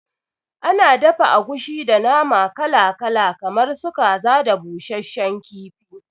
Ana dafa agushi da nama kala kala kamar su kaza da busasshen kifi